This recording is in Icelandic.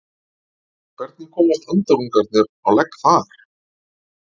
Hvernig komast andarungarnir á legg þar?